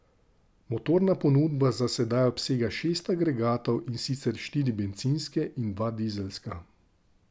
Motorna ponudba za sedaj obsega šest agregatov, in sicer štiri bencinske in dva dizelska.